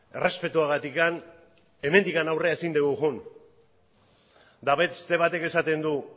errespetuagatik hemendik aurrera ezin dugu joan eta beste batek esaten du